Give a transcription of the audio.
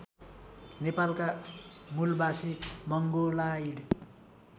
नेपालका मूलबासी मंगोलाइड